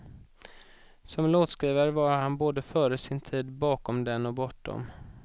Som låtskrivare var han både före sin tid, bakom den och bortom.